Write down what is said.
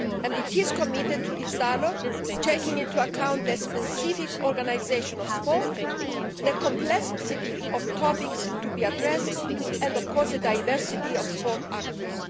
It is committed to this dialogue, taking into account the specific organisation of sport, the complexity of topics to be addressed and, of course, the diversity of sports actors.